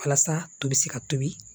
Walasa to bɛ se ka tobi